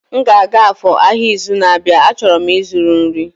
M ga-aga Afor ahịa izu na-abịa, a chọrọ m ịzụrụ nri